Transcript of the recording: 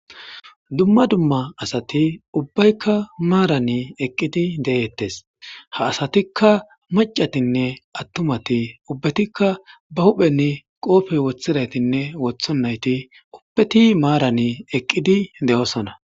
dumma dumma asati ubbaykka maarani eqqidi de7eettes ha asatikka macatinne attumati ubbatikka ba hupheni qoofey woththiraytinne wotho nayti ubpeti maarani eqqidi de7oosona